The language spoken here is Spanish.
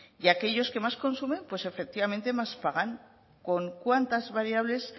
y aquellos que más consumen pues efectivamente más pagan con cuántas variables